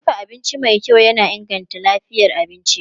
Dafa abinci mai kyau yana inganta lafiyar abinci.